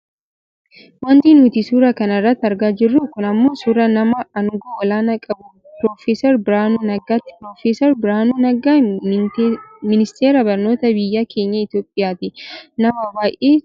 Wanti nuti suura kana irratti argaa jirru kun ammoo suuraa nama aangoo olaanaa qabu prof Biraanuu Naggaati. Prof Biraanuu Naggaa ministeera barnootaa biyya keenya Itoopiyaa ti. Nama baayyee cimaa dha.